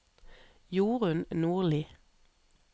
Jorun Nordli